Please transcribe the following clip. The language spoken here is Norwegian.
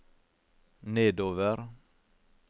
nedover